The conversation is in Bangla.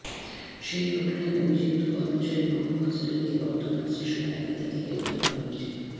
সেই ঘটনায় অভিযুক্ত কর্মচারী মহম্মদ সেলিমকে বর্ধমান স্টেশন এলাকা থেকে গ্রেফতার করা হয়েছে